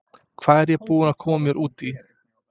Hvað er ég búinn að koma mér út í??